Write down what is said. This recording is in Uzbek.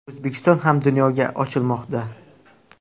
O‘zbekiston ham dunyoga ochilmoqda.